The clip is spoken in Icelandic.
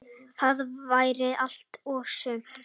Það væri allt og sumt.